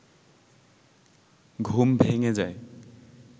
ঘুম ভেঙে যায়